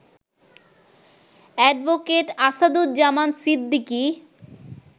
advocate Asaduzzaman Siddiqui